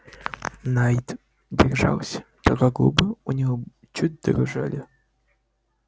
найд держался только губы у него чуть дрожали